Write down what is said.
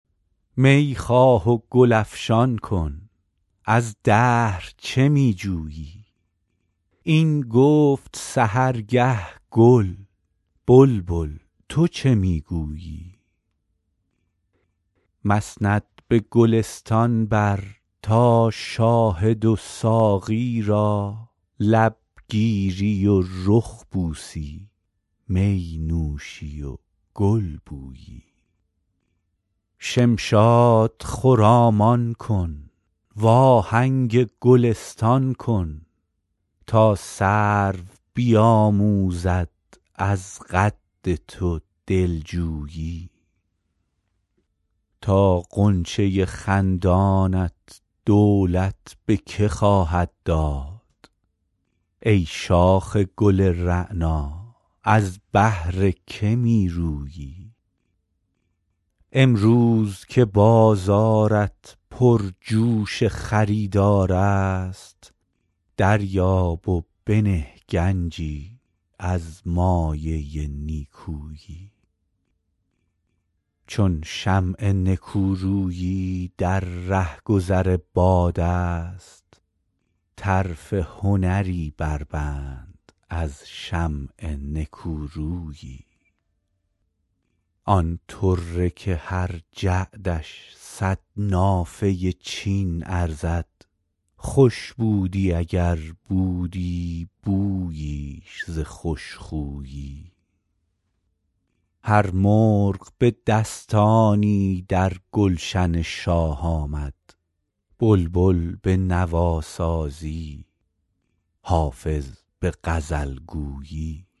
می خواه و گل افشان کن از دهر چه می جویی این گفت سحرگه گل بلبل تو چه می گویی مسند به گلستان بر تا شاهد و ساقی را لب گیری و رخ بوسی می نوشی و گل بویی شمشاد خرامان کن وآهنگ گلستان کن تا سرو بیآموزد از قد تو دل جویی تا غنچه خندانت دولت به که خواهد داد ای شاخ گل رعنا از بهر که می رویی امروز که بازارت پرجوش خریدار است دریاب و بنه گنجی از مایه نیکویی چون شمع نکورویی در رهگذر باد است طرف هنری بربند از شمع نکورویی آن طره که هر جعدش صد نافه چین ارزد خوش بودی اگر بودی بوییش ز خوش خویی هر مرغ به دستانی در گلشن شاه آمد بلبل به نواسازی حافظ به غزل گویی